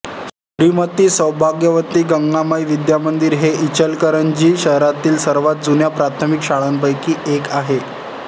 श्रीमंत सौभाग्यवती गंगामाई विद्यामंदिर ही इचलकरंजी शहरातील सर्वांत जुन्या प्राथमिक शाळांपैकी एक आहे